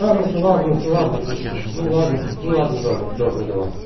ладно то ладно то ладно просто ну ладно ну ладно добре добре давай